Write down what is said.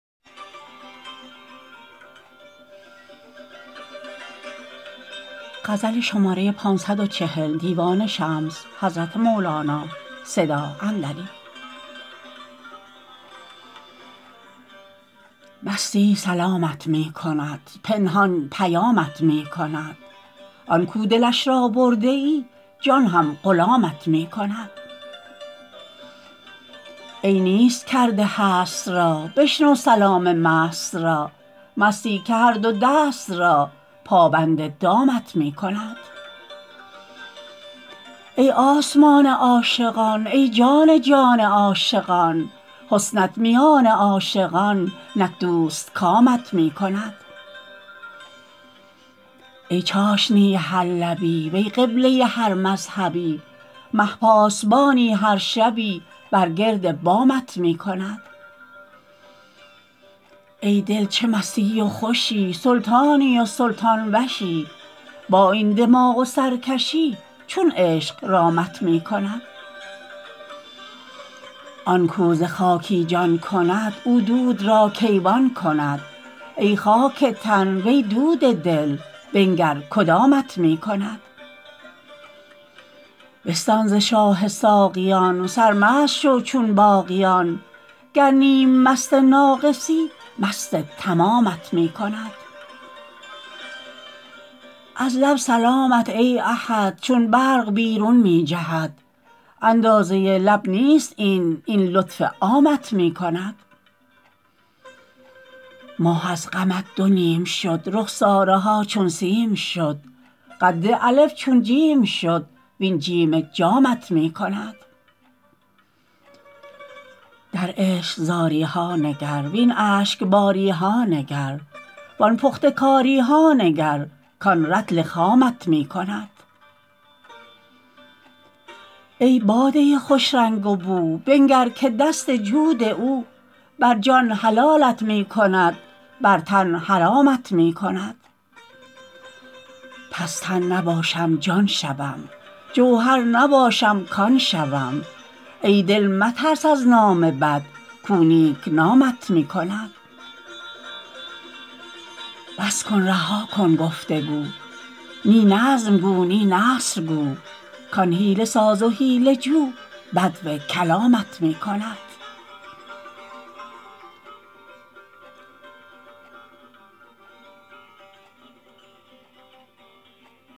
مستی سلامت می کند پنهان پیامت می کند آن کو دلش را برده ای جان هم غلامت می کند ای نیست کرده هست را بشنو سلام مست را مستی که هر دو دست را پابند دامت می کند ای آسمان عاشقان ای جان جان عاشقان حسنت میان عاشقان نک دوستکامت می کند ای چاشنی هر لبی وی قبله هر مذهبی مه پاسبانی هر شبی بر گرد بامت می کند ای دل چه مستی و خوشی سلطانی و سلطان وشی با این دماغ و سرکشی چون عشق رامت می کند آن کو ز خاکی جان کند او دود را کیوان کند ای خاک تن وی دود دل بنگر کدامت می کند بستان ز شاه ساقیان سرمست شو چون باقیان گر نیم مست ناقصی مست تمامت می کند از لب سلامت ای احد چون برگ بیرون می جهد اندازه لب نیست این این لطف عامت می کند ماه از غمت دو نیم شد رخساره ها چون سیم شد قد الف چون جیم شد وین جیم جامت می کند در عشق زاری ها نگر وین اشک باری ها نگر وان پخته کاری ها نگر کان رطل خامت می کند ای باده خوش رنگ و بو بنگر که دست جود او بر جان حلالت می کند بر تن حرامت می کند پس تن نباشم جان شوم جوهر نباشم کان شوم ای دل مترس از نام بد کو نیک نامت می کند بس کن رها کن گفت و گو نی نظم گو نی نثر گو کان حیله ساز و حیله جو بدو کلامت می کند